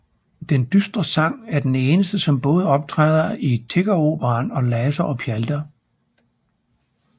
Den dystre sang er den eneste som både optræder i Tiggeroperaen og Laser og pjalter